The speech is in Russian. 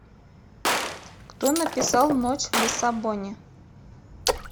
кто написал ночь в лиссабоне